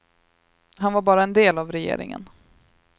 Han var bara en del av regeringen.